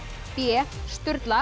b